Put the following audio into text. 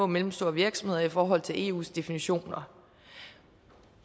mellemstore virksomheder i forhold til eus definitioner